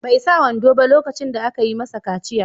Bai sa wando ba lokacin da aka yi masa kaciya.